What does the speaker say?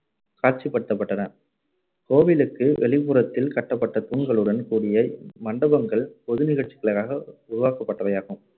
காட்சிப்படுத்தப்பட்டன. கோவிலுக்கு வெளிப்புறத்தில் கட்டப்பட்ட தூண்களுடன் கூடிய இம்மண்டபங்கள் பொது நிகழ்ச்சிகளுக்காக உருவாக்கப்பட்டவையாகும்.